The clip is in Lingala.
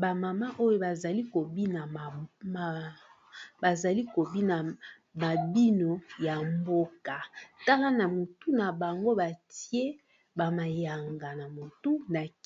Ba mama oyo bazali ko bina mabino ya mboka, tala na motu na bango batie ba mayanga na mutu